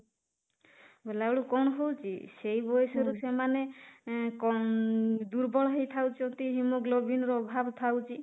ବେଳକୁ କଣ ହଉଛି, ସେଇ ବୟସରୁ ସେମାନେ ଦୁର୍ବଳ ହେଇଥାଉଛନ୍ତି haemoglobin ର ଅଭାବ ଥାଉଛି